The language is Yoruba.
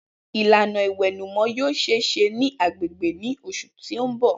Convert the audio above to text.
Ilana iwẹnumọ yoo ṣee ṣe ni agbegbe ni oṣu ti n bọ.